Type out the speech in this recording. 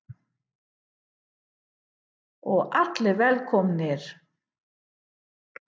Og allir velkomnir?